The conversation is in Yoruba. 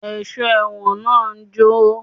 Ẹ̀sọ́ ẹ̀wọ̀n náà ń jó